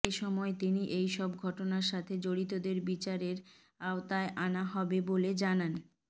এসময় তিনি এইসব ঘটনার সাথে জড়িতদের বিচারের আওয়তায় আনা হবে বলেও জানান